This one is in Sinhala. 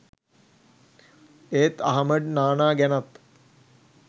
ඒත් අහමඩ් නානා ගැනත්